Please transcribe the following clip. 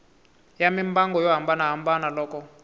ya mimbangu yo hambanahambana loko